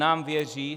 Nám věří.